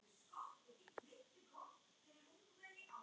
Hún hafði hinn hreina tón.